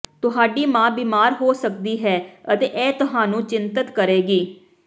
ਤੁਹਾਡੀ ਮਾਂ ਬੀਮਾਰ ਹੋ ਸਕਦੀ ਹੈ ਅਤੇ ਇਹ ਤੁਹਾਨੂੰ ਚਿੰਤਤ ਕਰੇਗੀ